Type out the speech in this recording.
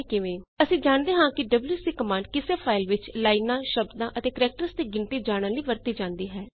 ਆਓ ਦੇਖੀਏ ਕਿਵੇਂ ਅਸੀ ਜਾਣਦੇ ਹਾਂ ਕਿ ਡਬਲਯੂਸੀ ਕਮਾੰਡ ਕਿਸੇ ਫਾਈਲ ਵਿੱਚ ਲਾਈਨਾਂ ਸ਼ਬਦਾਂ ਅਤੇ ਕੈਰੇਕਟਰਜ਼ ਦੀ ਗਿਣਤੀ ਜਾਣਨ ਲਈ ਵਰਤੀ ਜਾਂਦੀ ਹੈ